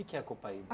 é a copaíba?